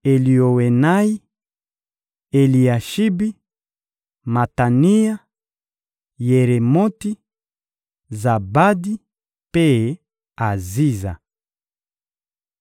Kati na bakitani ya Zatu: Eliowenayi, Eliashibi, Matania, Yeremoti, Zabadi mpe Aziza.